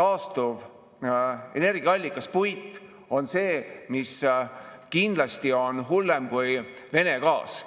taastuvenergiaallikas puit on kindlasti hullem kui Vene gaas.